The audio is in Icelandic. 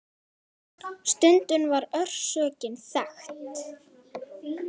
Stundum var orsökin þekkt.